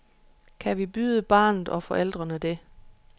Kan vi byde barnet og forældrene det?